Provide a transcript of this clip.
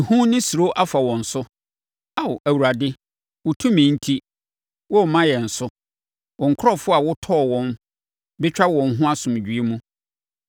Ehu ne suro afa wɔn so. Ao, Awurade, wo tumi enti, wɔremma yɛn so! Wo nkurɔfoɔ a wotɔɔ wɔn bɛtwa wɔn ho asomdwoeɛ mu.